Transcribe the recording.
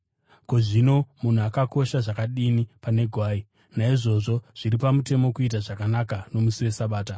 Ko, zvino munhu anokosha zvakadini pane gwai! Naizvozvo zviri pamutemo kuita zvakanaka nomusi weSabata.”